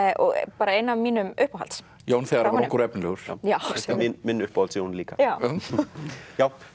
bara ein af mínum uppáhalds Jón þegar hann var ungur og efnilegur minn uppáhalds Jón líka